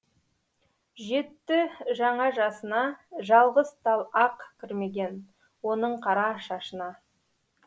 жетті жаңа жасына жалғыз тал ақ кірмеген оның қара шашына